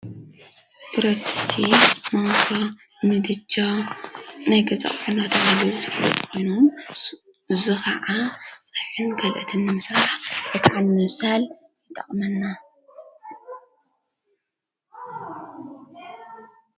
ብረድስቲ ማንካ ምድጃ ነገዛኦናተሃለዉ ስለት ኮይኖም ዙኸዓ ፀየን ገልእትኒ ምስራሕ የካልኔሳል ይጠቕመና።